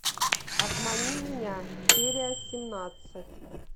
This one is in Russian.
обмани меня серия семнадцать